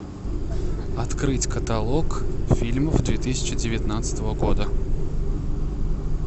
открыть каталог фильмов две тысячи девятнадцатого года